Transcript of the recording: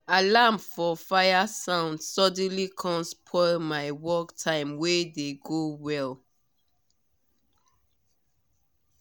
alarm for fire sound suddenly com spoil my work time wey dey go well